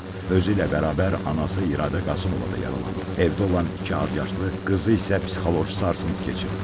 Özü ilə bərabər anası İradə Qasımova da yaralanıb, evdə olan iki azyaşlı qızı isə psixoloji sarsıntı keçirib.